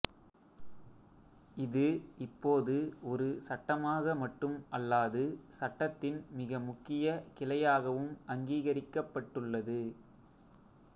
இது இப்போது ஒரு சட்டமாக மட்டும் அல்லாது சட்டத்தின் மிக முக்கிய கிளையாகவும் அங்கிகரிக்கப்பட்டுள்ளது